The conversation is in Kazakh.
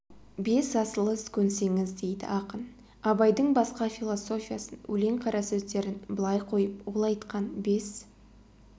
бес асыл іс көнсеңіз дейді ақын абайдың басқа философиясын өлең қарасөздерін былай қойып ол айтқан бес